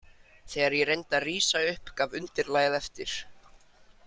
Þegar ég reyndi að rísa upp gaf undirlagið eftir.